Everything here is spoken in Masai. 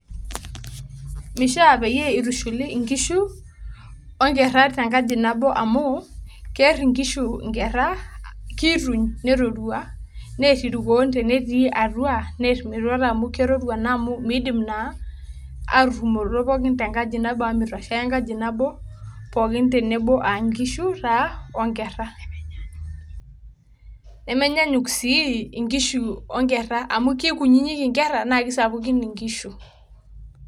Mishaa peyie itushuli inkishu o nkerra te nkaji nabo amu keer inkishu inkerra, kiituny nerorua neer irkuon tenetii atua neer metuata amu kerorua naa amu miidim naa aturumoroto pookin tenkaji amu mitoshea enkaji nabo pookin tenebo a nkishu taa o nkerra. nemenyanyuk sii inkishu o nkerra amu kunyinyik inkerra naake sapukin inkishu.